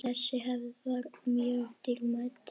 Þessi hefð var mjög dýrmæt.